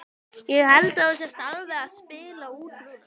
Ég held að þú sért alveg að spila út núna!